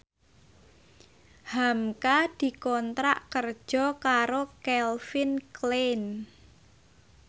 hamka dikontrak kerja karo Calvin Klein